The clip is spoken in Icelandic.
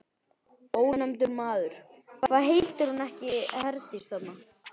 Ónefndur maður: Hvað heitir hún ekki Herdís, þarna?